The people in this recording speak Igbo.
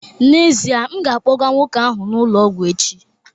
N'ezie, m ga-akpọga nwoke ahụ n'ụlọ ọgwụ echi